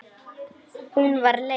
Hún var leið.